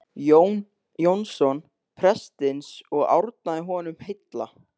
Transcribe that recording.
Jón Jónsson prestsins og árnaði honum heilla.